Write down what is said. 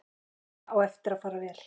Þetta á eftir að fara vel.